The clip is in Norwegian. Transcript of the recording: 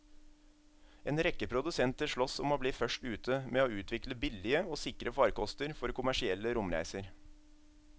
En rekke produsenter sloss om å bli først ute med å utvikle billige og sikre farkoster for kommersielle romreiser.